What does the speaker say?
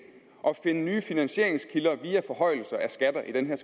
at finde nye finansieringskilder via forhøjelser af skatter i den her